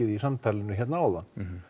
í samtalinu áðan